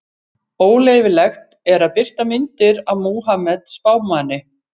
Óleyfilegt er að birta myndir af Múhameð spámanni.